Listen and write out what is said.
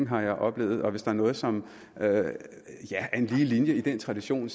har jeg oplevet og hvis der er noget som er en lige linje i den tradition